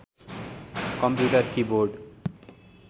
computer keyboard